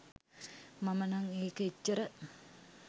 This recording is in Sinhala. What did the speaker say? මම නම් ඒක එච්චර